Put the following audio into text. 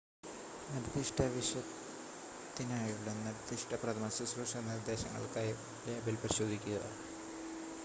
നിർദ്ദിഷ്ട വിഷത്തിനായുള്ള നിർദ്ദിഷ്ട പ്രഥമശുശ്രൂഷ നിർദ്ദേശങ്ങൾക്കായി ലേബൽ പരിശോധിക്കുക